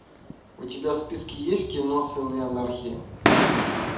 у тебя в списке есть кино сыны анархии